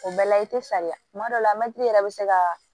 O bɛɛ la i te saliya kuma dɔw la mɛtiri yɛrɛ be se ka